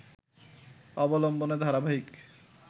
অবলম্বনে ধারাবাহিক